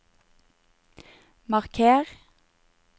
marker